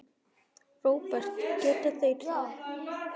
Róbert: Geta þeir það?